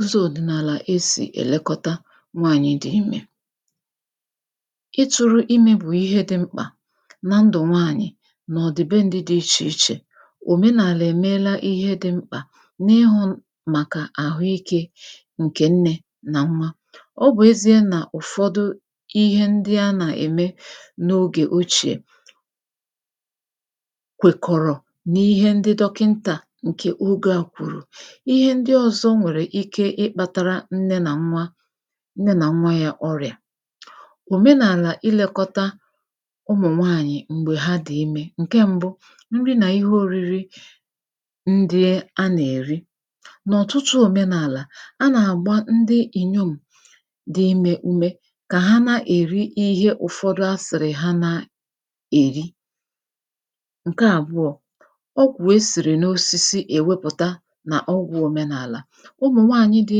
ụzọ̄ ọ̀dị̀nàlà esì èlekọta nwaànyị dị̄ imē ịtụ̄rụ̄ imē bụ̀ ihe dị̄ mkpà na ndụ̀ nwaanyị nà ọ̀dị̀ben̄dị̄ dị ichè ichè òmenàlà èmeela ihe dị̄ m̀kpà n’ịhụ̄ màkà àhụikē ǹkè nnē nà nwa, ọ bụ̀ ezīa nà ụ̀fọdụ ihe ndị a nà-ème n’ogè ochìè kwèkọ̀rọ̀ n’ihe ndị dọkịntà ǹkè ogē à kwùrù ihe ndị ōzọ̄ nwèrè ike ịkpātara nne nà nwa nne nà nwa yā ọrị̀à òmenàlà ịlēkọta ụmụ̀nwaànyị̀ m̀gbè ha dị̀ imē, ǹke m̄bụ̄; nri nà ihe oriri ndị a nà-èri n’ọ̀tụtụ òmenàlà a nà-àgba ndị ìnyom̀ dị imē ume kà ha nà-èri ihe ụ̀fọdụ asị̀rị̀ ya na- èri ǹke àbụọ̄ ogwụ̀ e sìrì n’osisi èmepụ̀ta nà ọgwụ̄ òmenàlà ụmụ̀nwaànyị dị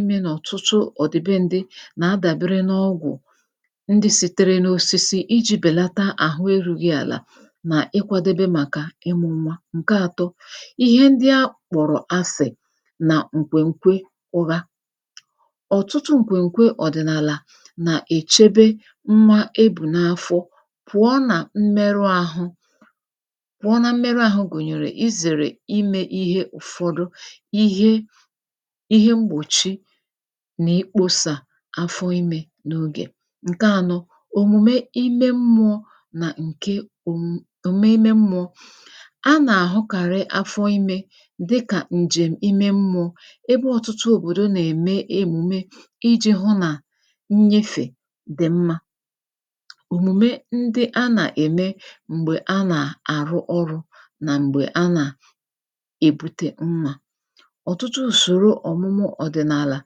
imē n’ọ̀tụtụ ọ̀dị̀ be n̄dị nà-adàbere n’ogwụ̀ ndị sitere n’osisi ijī bèlata àhụ erūghị àlà nà ịkwādebe màkà ịmụ̄ nwa, ǹke ātọ̄; ihe ndị akpọ̀rọ̀ asị̀ nà ǹkwèǹkwe ụra ọ̀tụtụ ǹkwèǹkwe ọ̀dị̀nàlà nà-èchebe nwa e bù n’afọ pụ̀ọ nà mmerụ ahụ pụ̀ọ na mmerụ ahụ gụ̀nyèrè izèrè imē ihe ụ̀fọdụ, ihe ihe mgbòchi nà-ekpōsà afọ imē n’ogè, ǹke ānọ̄; òmùme ime mmụ̄ọ nà ǹke omum òmùmè ime mmụ̄ọ a nà-àhụkàrị̇ afọ imē dịkà ǹjèm̀ ime mmụ̄ọ ebe ọ̀tụtụ òbòdo nà-ème emume ijī hụ nà nnyefè dị̀ mmā òmùme ndị a nà-ème m̀gbè a nà-àrụ ọrụ̄̄ nà m̀gbè a nà- èbute nwā ọ̀tụtụ ùsòro ọ̀mụmu ọ̀dị̀nàlà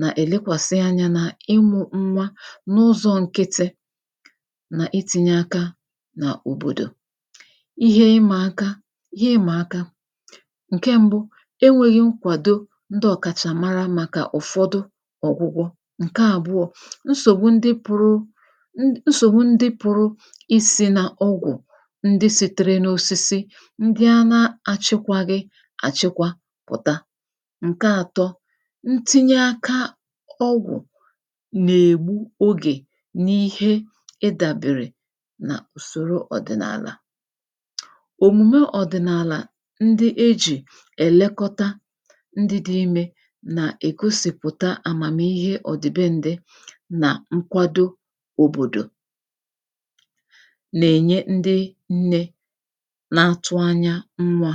nà-èlekwàsị anyā n’ịmụ̄ nwa n’ụzọ̄ nkịtị nà itīnye aka n’òbòdò ihe ịmà aka, ihe ịmà aka ǹke m̄bụ̄; enwēghi nkwàdo ndị ọ̀kàchà mara màkà ụ̀fọdụ ọ̀gwụgwọ, ǹke àbụọ̄; nsògbu ndị pụ̄rụ n nsògbu ndị pụ̄rụ isī n’ọgwụ̀ ndị sītere n’osisi, ndị a na-achịkwāghị àchịkwa pụ̀ta, ǹke ātọ̄ ntinye aka ọgwụ̀ nà-ègbu ogè n’ihe ị bàbèrè n’ùsòro ọ̀dị̀nàlà òmùme ọ̀dị̀nàlà ndị ejì èlekọta ndị dị̄ imē nà-ègosìpụ̀ta àmàmihe ọ̀dị̀ben̄dị nà nkwado ǹke òbòdò nà-ènye ndị nnē na-atụ anya nwā